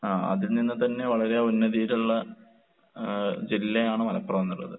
ആഹ് അതിൽ നിന്ന് തന്നെ വളരെ ഉന്നതിയിലുള്ള ഏഹ് ജില്ലയാണ് മലപ്പുറം എന്നുള്ളത്.